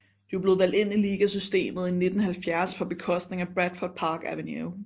De var blevet valgt ind i ligasystemet i 1970 på bekostning af Bradford Park Avenue